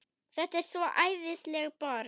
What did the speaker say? Þetta er svo æðisleg borg.